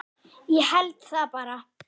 Ég held það bara.